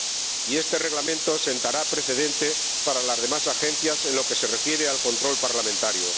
Y este Reglamento sentará precedente para las demás agencias en lo que se refiere al control parlamentario.